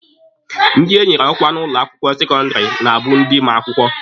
Ndị enyere ọkwa n'ụlọ akwụkwọ sekọndịrị na-abụ ndị ma akwụkwọ.